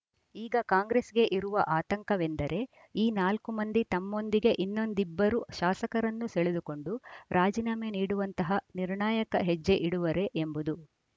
ಈಗ ಕಾಂಗ್ರೆಸ್‌ಗೆ ಇರುವ ಆತಂಕವೆಂದರೆ ಈ ನಾಲ್ಕು ಮಂದಿ ತಮ್ಮೊಂದಿಗೆ ಇನ್ನೊಂದಿಬ್ಬರು ಶಾಸಕರನ್ನು ಸೆಳೆದುಕೊಂಡು ರಾಜೀನಾಮೆ ನೀಡುವಂತಹ ನಿರ್ಣಾಯಕ ಹೆಜ್ಜೆ ಇಡುವರೇ ಎಂಬುದು